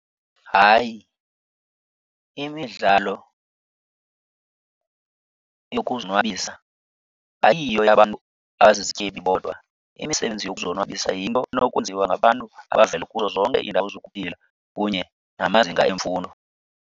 Hayi, imidlalo yokuzonwabisa ayiyo eyabantu abazizityebi bodwa. Imisebenzi yokuzonwabisa yinto enokwenziwa ngabantu abavela kuzo zonke iindawo zokuphila kunye namazinga emfundo.